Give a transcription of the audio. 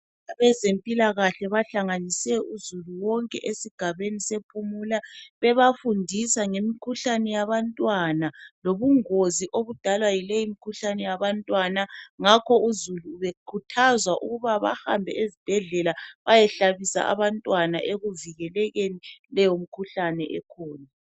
Abezempilakahle bahlanganise uzulu wonke esigabeni sePhumula bebafundisa ngemikhuhlane yabantwana lobungozi bayo ngakho uzulu bekhuthazwa ukuhambisa abantwana esibhedlela bayehlatshwa ukuze kuvikelwe leyomikhuhlane.